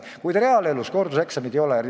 Kuid reaalses elus korduseksameid ei ole.